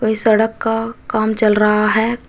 कोई सड़क का काम चल रहा है।